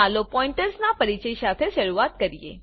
ચાલો પોઈન્ટર્સ ના પરિચય સાથે શરૂ કરીએ